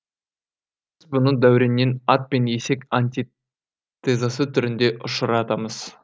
бұны дәуреннен ат пен есек антитезасы түрінде ұшыратамыз